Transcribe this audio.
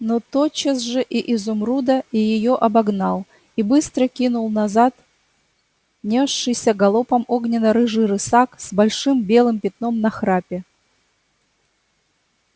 но тотчас же и изумруда и её обогнал и быстро кинул назад нёсшийся галопом огненно-рыжий рысак с большим белым пятном на храпе